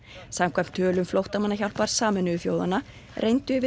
samkvæmt tölum flóttamannahjálpar Sameinuðu þjóðanna reyndu yfir